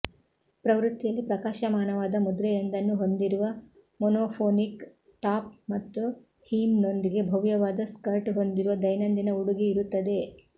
ಪ್ರವೃತ್ತಿಯಲ್ಲಿ ಪ್ರಕಾಶಮಾನವಾದ ಮುದ್ರೆಯೊಂದನ್ನು ಹೊಂದಿರುವ ಮೊನೊಫೊನಿಕ್ ಟಾಪ್ ಮತ್ತು ಹೀಮ್ನೊಂದಿಗೆ ಭವ್ಯವಾದ ಸ್ಕರ್ಟ್ ಹೊಂದಿರುವ ದೈನಂದಿನ ಉಡುಗೆ ಇರುತ್ತದೆ